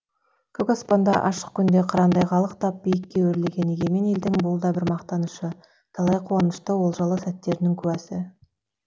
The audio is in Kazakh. көк аспанда ашық күнде қырандай қалықтап биікке өрлеген егемен елдің бұл да бір мақтанышы талай қуанышты олжалы сәттерінің куәсі